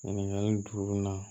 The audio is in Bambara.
Ɲininkali juru in na